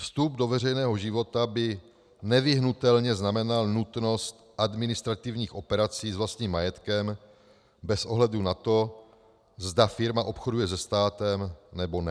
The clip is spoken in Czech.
Vstup do veřejného života by nevyhnutelně znamenal nutnost administrativních operací s vlastním majetkem bez ohledu na to, zda firma obchoduje se státem, nebo ne.